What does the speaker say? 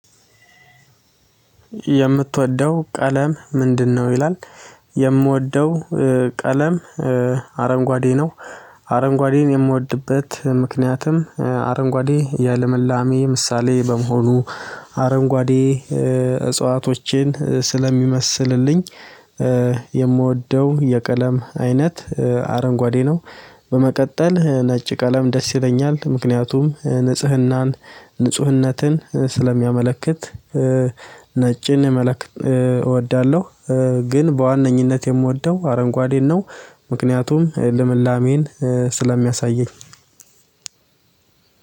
ምትወደው ቀለም ምንድነው? ይላል፤ የምወደው ቀለም አረንጓዴ ነው። አረንጓዴን የምወድበት ምክንያትም አረንጓዴ የልምላሜ ምሳሌ ስለሚሆንልኝ፣ አረንጓዴ እጽዋቶችን ስለሚመስልልኝ የምወደው የቀለም አይነት አረንጓዴ ነው በመቀጠል ነጭ ቀለም ደስ ይለኛል፤ ምክንያቱም ንጽሕናንና ንጽሕነትን ስለሚያመለክት መልክ እወዳለሁ ግን በዋነኝነት የምወደው አረንጓዴን ነው፤ ምክንያቱም ለምላሜን ስለሚያሳየኝ